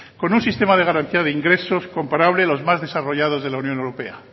con un sistema de garantía de ingresos comparable a los más desarrollados de la unión europea